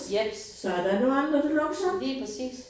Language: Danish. Jeps. Lige præcis